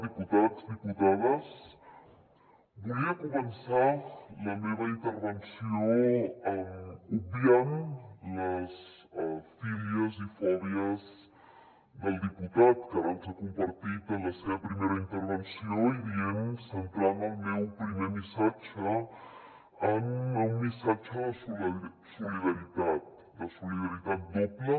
diputats diputades volia començar la meva intervenció obviant les fílies i fòbies del diputat que ara ens ha compartit en la seva primera intervenció i dient centrant el meu primer missatge en un missatge de solidaritat de solidaritat doble